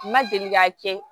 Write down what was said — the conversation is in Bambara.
Ma deli k'a kɛ